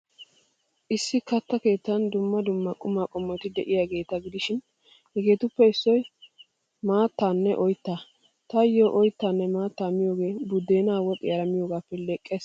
Issi katta keettan dumma dumma quma qommoti de'iyaageeta gidishin, hegeetuppe issoy maattaanne oyttaa. Taayo, oyttaanne maattaa miyoogee buddeenaa woxiyaara miyoogaappe leqqees.